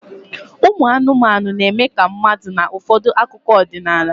Ụmụ anụmanụ na-eme ka mmadụ n'ụfọdụ akụkọ ọdịnala